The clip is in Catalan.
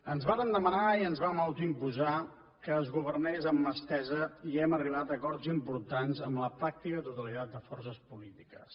ens varen demanar i ens vam autoimposar que es governés amb mà estesa i hem arribat a acords importants amb la pràctica totalitat de forces polítiques